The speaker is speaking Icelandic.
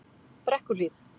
Brekkuhlíð